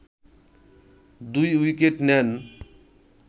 ২ wicket নেন